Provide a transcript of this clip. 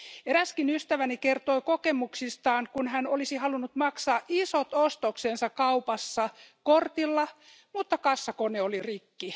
Eräskin ystäväni kertoo kokemuksestaan, kun hän olisi halunnut maksaa isot ostoksensa kaupassa kortilla, mutta kassakone oli rikki.